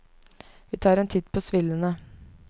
Vi tar en titt på svillene.